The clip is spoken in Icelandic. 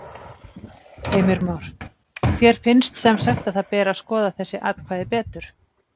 Heimir Már: Þér finnst semsagt að það beri að skoða þessi atkvæði betur?